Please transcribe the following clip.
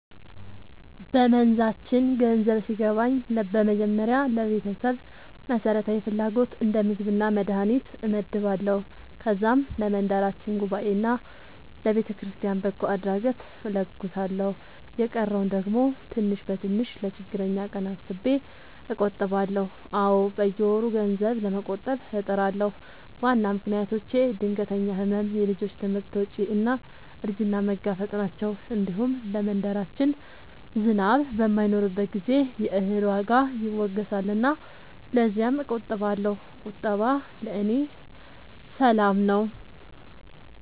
በመንዛችን ገንዘብ ሲገባኝ በመጀመሪያ ለቤተሰብ መሠረታዊ ፍላጎት እንደ ምግብና መድሀኒት እመድባለሁ። ከዛም ለመንደራችን ጉባኤና ለቤተክርስቲያን በጎ አድራጎት እለግሳለሁ። የቀረውን ደግሞ ትንሽ በትንሽ ለችግረኛ ቀን አስቤ እቆጥባለሁ። አዎ፣ በየወሩ ገንዘብ ለመቆጠብ እጥራለሁ። ዋና ምክንያቶቼ ድንገተኛ ሕመም፣ የልጆች ትምህርት ወጪ እና እርጅናን መጋፈጥ ናቸው። እንዲሁም ለመንደራችን ዝናብ በማይኖርበት ጊዜ የእህል ዋጋ ይወገሳልና ለዚያም እቆጥባለሁ። ቁጠባ ለእኔ ሰላም ነው።